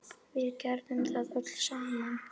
Við gerðum það öll saman.